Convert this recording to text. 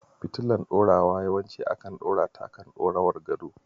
Fitilar ɗorawa yawanci ana ɗorata akan dirowar gado.